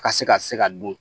Ka se ka se ka dun